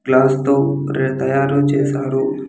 Glass తో రే-- తయారు చేసారు.